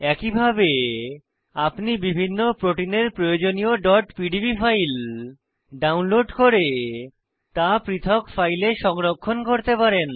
একইভাবে আপনি বিভিন্ন প্রোটিনের প্রয়োজনীয় pdb ফাইল ডাউনলোড করে তা পৃথক ফাইলে সংরক্ষণ করতে পারেন